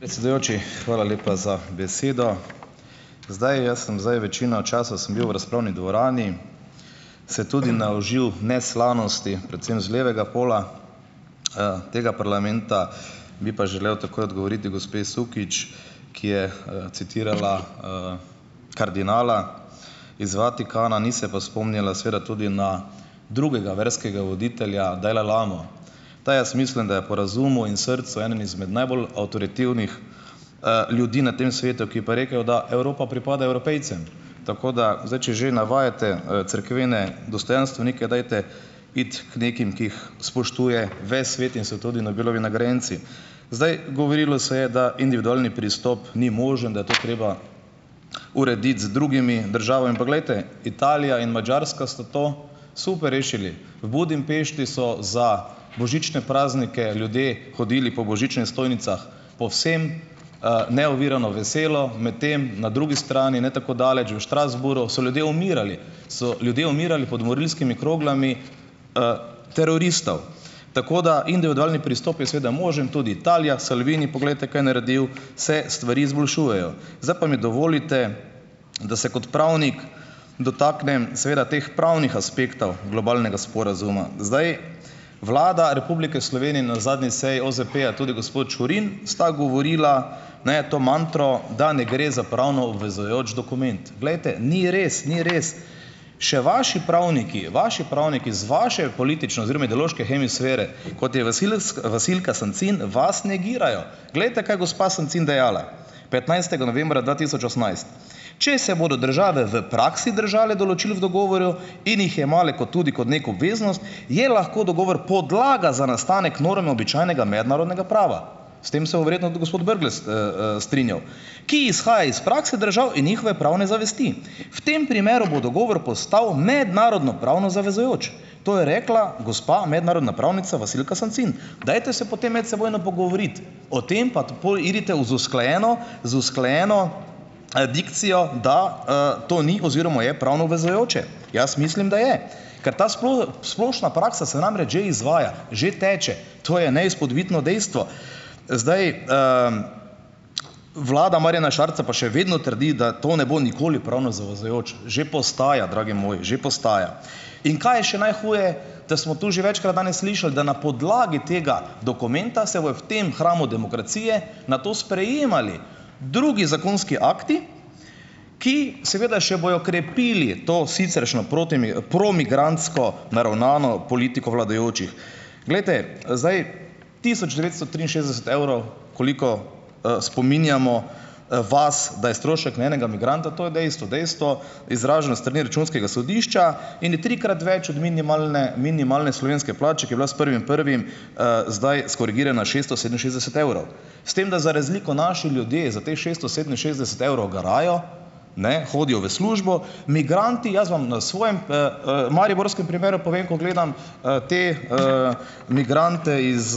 Predsedujoči, hvala lepa za besedo. Zdaj, jaz sem zdaj večino časa sem bil v razpravni dvorani, se tudi naužil neslanosti, predvsem z levega pola, tega parlamenta, bi pa želel takoj odgovoriti gospe Sukič, ki je, citirala, kardinala iz Vatikana, ni se pa spomnila seveda tudi na drugega verskega voditelja Dalajlamo. Ta jaz mislim, da je po razumel in srcu eden izmed najbolj avtoritativnih, ljudi na tem svetu, ki pa je rekel, da Evropa pripada Evropejcem, tako da zdaj, če že navajate, cerkvene dostojanstvenike, dajte iti k nekim, ki jih spoštuje ves svet in so tudi Nobelovi nagrajenci. Zdaj, govorilo se je, da individualni pristop ni možen, da je to treba urediti z drugimi državami in pa glejte, Italija in Madžarska sta to super rešili. V Budimpešti so za božične praznike ljudje hodili po božičnih stojnicah povsem, neovirano, veselo, medtem na drugi strani, ne tako daleč, v Strasbourgu, so ljudje umirali, so ljudje umirali pod morilskimi kroglami, teroristov, tako da individualni pristop je seveda možen. Tudi Italija, Salvini poglejte, kaj je naredil, se stvari izboljšujejo. Zdaj pa mi dovolite, da se kot pravnik dotaknem seveda teh pravnih aspektov globalnega sporazuma. Zdaj, Vlada Republike Slovenije je na zadnji seji OZP-ja, tudi gospod Čurin sta govorila, ne, to mantro, da ne gre za pravno obvezujoč dokument. Glejte, ni res, ni res. Še vaši pravniki, vaši pravniki z vaše politične oziroma ideološke hemisfere, kot je Vasilka Sancin, vas negirajo. Glejte, kaj gospa Sancin dejala, petnajstega novembra dva tisoč osemnajst: "Če se bodo države v praksi držale določil v dogovoru in jih jemale kot tudi kot neko obveznost, je lahko dogovor podlaga za nastanek norm običajnega mednarodnega prava." S tem se bo verjetno tudi gospod Brglez, strinjal: "Ki izhaja iz prakse držav in njihove pravne zavesti. V tem primeru bo dogovor postal mednarodnopravno zavezujoč." To je rekla gospa mednarodna pravnica, Vasilka Sancin, dajte se potem medsebojno pogovoriti o tem, pa pol idite v, z usklajeno, z usklajeno, dikcijo, da, to ni oziroma je pravno obvezujoče. Jaz mislim, da je. Ker ta splošna praksa se namreč že izvaja, že teče. To je neizpodbitno dejstvo. Zdaj ... Vlada Marjana Šarca pa še vedno trdi, da to ne bo nikoli pravno zavezujoč. Že postaja, dragi moji, že postaja. In kaj je še najhuje, da smo tu že večkrat danes slišali, da na podlagi tega dokumenta se bojo v tem hramu demokracije na to sprejemali drugi zakonski akti, ki seveda še bojo krepili to siceršnjo promigrantsko naravnano politiko vladajočih. Glejte, zdaj tisoč devetsto triinšestdeset evrov, koliko, spominjamo, vas, da je strošek na enega migranta, to je dejstvo. Dejstvo, izraženo s strani računskega sodišča in je trikrat več od minimalne, minimalne slovenske plače, ki je bila s prvim prvim, zdaj skorigirana šeststo sedeminšestdeset evrov. S tem, da za razliko naši ljudje za teh šeststo sedeminšestdeset evrov garajo, ne, hodijo v službo, migranti, jaz vam na svojem, mariborskem primeru povem, ko gledam, te, migrante iz,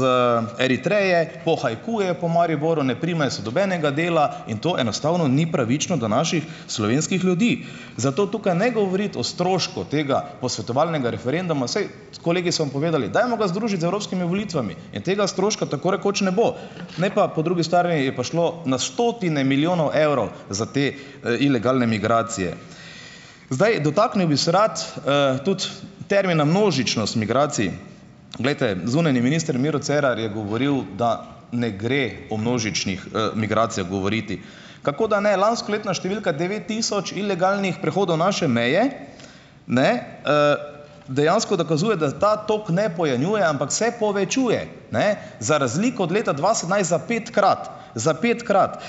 Eritreje, pohajkujejo po Mariboru, ne primejo se nobenega dela, in to enostavno ni pravično do naših slovenskih ljudi. Zato tukaj ne govoriti o strošku tega posvetovalnega referenduma, saj kolegi so vam povedali: "Dajmo ga združiti z evropskimi volitvami In tega stroška tako rekoč ne bo. Ne, pa po drugi strani je pa šlo na stotine milijonov evrov za te, ilegalne migracije. Zdaj, dotaknil bi se rad, tudi termina "množičnost migracij". Glejte, zunanji minister Miro Cerar je govoril, da ne gre o množičnih, migracijah govoriti. Kako da ne? Lanskoletna številka devet tisoč ilegalnih prehodov naše meje, ne, dejansko dokazuje, da ta toliko ne pojenjuje, ampak se povečuje, ne, za razliko od leta dva sedemnajst za petkrat. Za petkrat.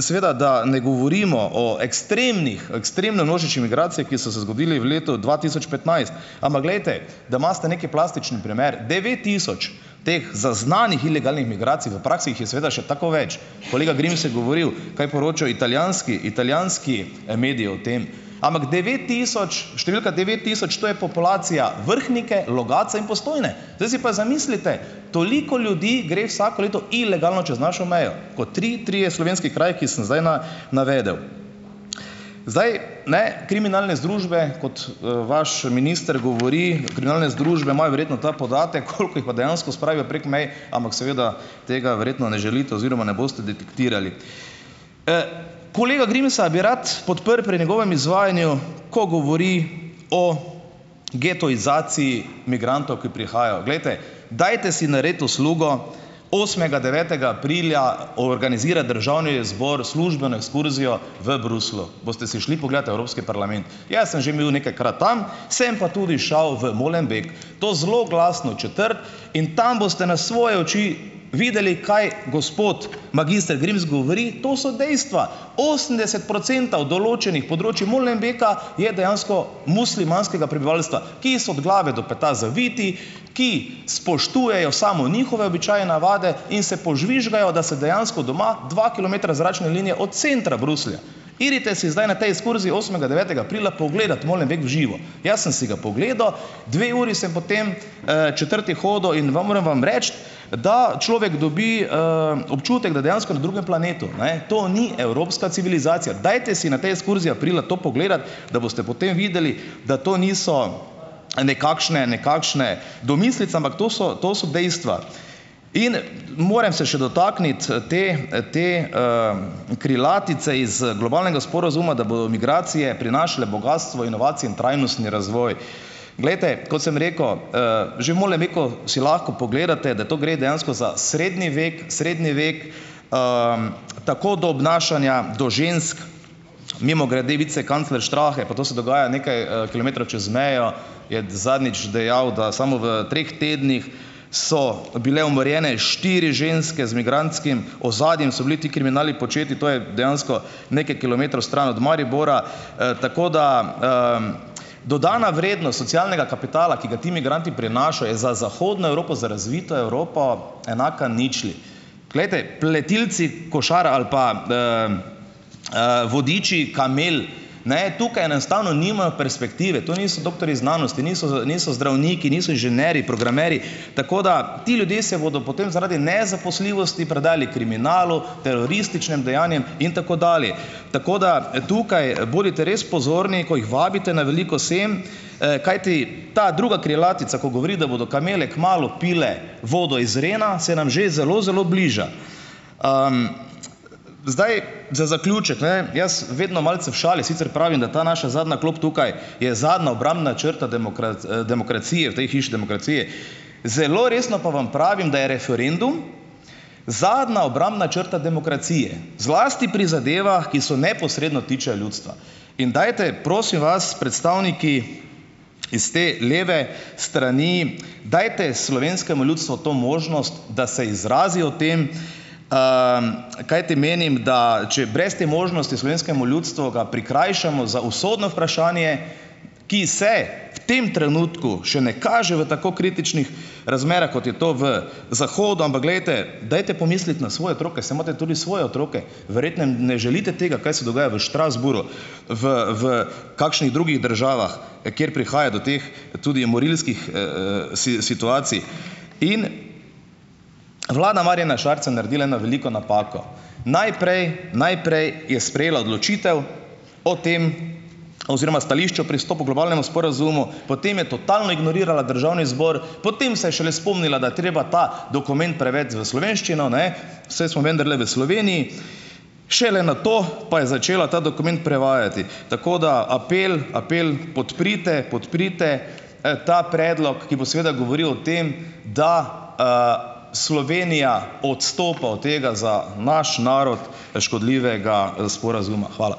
Seveda da ne govorimo o ekstremnih, ekstremno množičnih migracijah, ki so se zgodile v letu dva tisoč petnajst. Ampak glejte, da imate neki plastični primer, devet tisoč teh zaznanih ilegalnih migracij, v praksi jih je seveda še tako več. Kolega Grims je govoril, kaj poročajo italijanski, italijanski, mediji o tem. Ampak devet tisoč, številka devet tisoč to je populacija Vrhnike, Logatca in Postojne. Zdaj si pa zamislite, toliko ljudi gre vsako leto ilegalno čez našo mejo kot tri trije slovenski kraju, ki sem zdaj navedel. Zdaj. Ne, kriminalne združbe, kot, vaš minister govori, kriminalne združbe imajo verjetno ta podatek, koliko jih pa dejansko spravijo prek mej, ampak seveda tega verjetno ne želite oziroma ne boste detektirali. Kolega Grimsa bi rad podprl pri njegovem izvajanju, ko govori o getoizaciji migrantov, ki prihajajo. Glejte, dajte si narediti uslugo, osmega, devetega aprila organizira državni zbor službeno ekskurzijo v Bruslju. Boste si šli pogledat evropski parlament. Jaz sem že bil nekajkrat tam. Sem pa tudi šel v Molenbeek, to zloglasno četrt, in tam boste na svoje oči videli, kaj gospod magister Grims govori, to so dejstva. Osemdeset procentov določenih področij Molenbeeka je dejansko muslimanskega prebivalstva, ki so od glave do peta zaviti, ki spoštujejo samo njihove običaje in navade in se požvižgajo, da se dejansko doma dva kilometra zračne linije od centra Bruslja. Pojdite si zdaj na tej ekskurziji osmega, devetega aprila pogledati Molenbeek v živo. Jaz sem si ga pogledal. Dve uri sem po tej, četrti hodil in vam moram vam reči, da človek dobi, občutek, da je dejansko na drugem planetu, ne. To ni evropska civilizacija. Dajte si na tej ekskurziji aprila to pogledati, da boste potem videli, da to niso, nekakšne nekakšne domislice, ampak to so, to so dejstva. In moram se še dotakniti, te, te, krilatice iz, globalnega sporazuma, da bojo migracije prinašale bogastvo, inovacije in trajnostni razvoj. Glejte, kot sem rekel, že v Molenbeek si lahko pogledate, da to gre dejansko za srednji vek, srednji vek, tako do obnašanja do žensk. Mimogrede vicekancler Strache, pa to se dogaja nekaj, kilometrov čez mejo, je zadnjič dejal, da samo v treh tednih so bile umorjene štiri ženske z migrantskim ozadjem, so bili ti kriminali početi. To je dejansko nekaj kilometrov stran od Maribora. Tako da, dodana vrednost socialnega kapitala, ki ga ti migranti prinašajo, je za zahodno Evropo, za razvito Evropo enaka ničli. Glejte, pletilci košar ali pa, vodiči kamel, ne, tukaj enostavno nimajo perspektive. To niso doktorji znanosti, niso niso zdravniki, niso inženirji, programerji. Tako da ti ljudje se bodo potem zaradi nezaposljivosti predali kriminalu, terorističnem dejanjem in tako dalje. Tako da, tukaj, bodite res pozorni, ko jih vabite na veliko sem, kajti ta druga krilatica, ko govori, da bodo kamele kmalu pile vodo iz Rena, se nam že zelo zelo bliža. Zdaj, za zaključek, ne, jaz vedno malce v šali sicer pravim, da ta naša zadnja klop tukaj je zadnja obrambna črta demokracije v tej hiši demokracije, zelo resno pa vam pravim, da je referendum zadnja obrambna črta demokracije, zlasti pri zadevah, ki so neposredno tičejo ljudstva. In dajte, prosim vas, predstavniki iz te leve strani, dajte slovenskemu ljudstvu to možnost, da se izrazi o tem, kajti menim, da če je brez te možnosti, slovenskemu ljudstvu ga prikrajšamo za usodno vprašanje, ki se v tem trenutku še ne kaže v tako kritičnih razmerah, kot je to v zahodu, ampak glejte, dajte pomisliti na svoje otroke. Saj imate tudi svoje otroke. Verjetno jim ne želite tega, kaj se dogaja v Strasbourgu, v, v kakšnih drugih državah, kjer prihaja do teh, tudi morilskih, situacij. In vlada Marjana Šarca je naredila eno veliko napako. Najprej, najprej je sprejela odločitev o tem, oziroma stališča o pristopu globalnemu sporazumu, potem je totalno ignorirala državni zbor, potem se je šele spomnila, da je treba ta dokument prevesti v slovenščino, ne, saj smo vendarle v Sloveniji, šele nato pa je začela ta dokument prevajati. Tako, da apel, apel podprite, podprite ta predlog, ki bo govoril o tem, da, Slovenija odstopa od tega, za naš narod, škodljivega, sporazuma. Hvala.